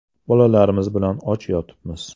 Bolalarimiz bilan och yotibmiz.